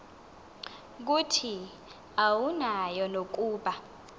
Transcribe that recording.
kuthi awunayo nokuba